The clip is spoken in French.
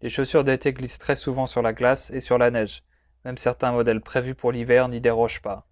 les chaussures d'été glissent très souvent sur la glace et sur la neige même certains modèles prévus pour l'hiver n'y dérogent pas